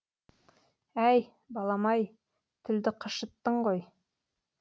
әй балам ай тілді қышыттың ғой